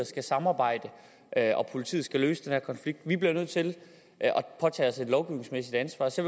skal samarbejde og at politiet skal løse den her konflikt vi bliver nødt til at påtage os et lovgivningsmæssigt ansvar så